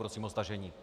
Prosím o stažení.